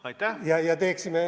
Aitäh!